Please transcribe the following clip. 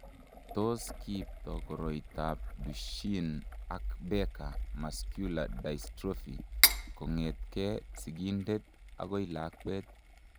Tos kiipto koroitoab Duchenne ak Becker muscular dystrophy kong'etke sigindet akoi lakwet?